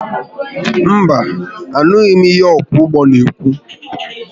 Mba, anụghi m ihe ọkwọ ụgbọ n'ekwu